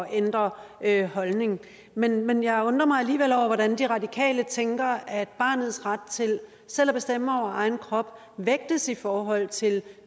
ændrer holdning men men jeg undrer mig alligevel over hvordan de radikale tænker at barnets ret til selv at bestemme over egen krop vægtes i forhold til